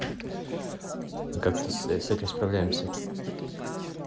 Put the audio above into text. и как-то с с этим справляемся